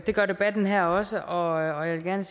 gør debatten her også og jeg vil gerne